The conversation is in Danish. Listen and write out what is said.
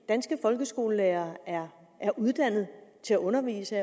danske folkeskolelærere er uddannet til at undervise